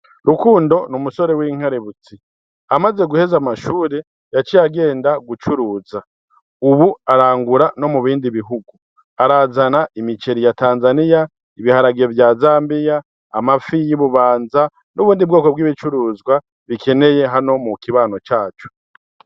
Rukundo niumusore w'inkaributsi amaze guheza amashure yac yagenda gucuruza, ubu arangura no mu bindi bihugu arazana imiceri ya tanzaniya ibiharagiro vya zambiya amafi y'ububanza n'ubundi bwoko bw'ibicuruzwa bikeneye hano mu kibano cacu.